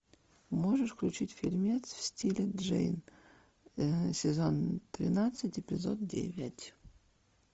можешь включить фильмец в стиле джейн сезон тринадцать эпизод девять